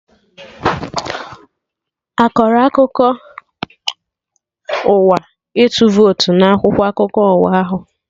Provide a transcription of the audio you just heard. Akọrọ akụkọ ụwa ịtụ votu na akwụkwọ akụkọ ụwa ahụ?